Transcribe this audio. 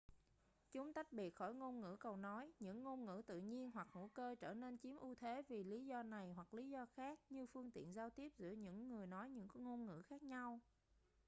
chúng tách biệt khỏi ngôn ngữ cầu nối những ngôn ngữ tự nhiên hoặc hữu cơ trở nên chiếm ưu thế vì lý do này hoặc lý do khác như phương tiện giao tiếp giữa những người nói những ngôn ngữ khác nhau